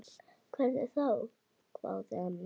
Hvernig þá, hváði Anna.